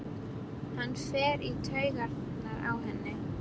Hann fer í taugarnar á henni.